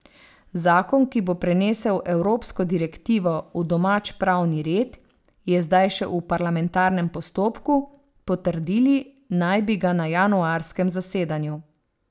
Zakon, ki bo prenesel evropsko direktivo v domač pravni red, je zdaj še v parlamentarnem postopku, potrdili naj bi ga na januarskem zasedanju.